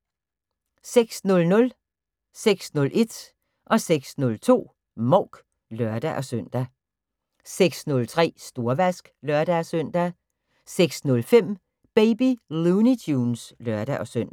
06:00: Mouk (lør-søn) 06:01: Mouk (lør-søn) 06:02: Mouk (lør-søn) 06:03: Storvask (lør-søn) 06:05: Baby Looney Tunes (lør-søn)